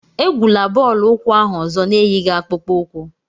Egwula bọọlụ ukwu ahụ ozo na-eyighị akpụkpọ ukwu!